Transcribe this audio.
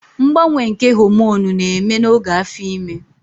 Mgbanwe nke homonụ na-eme n'oge afo ime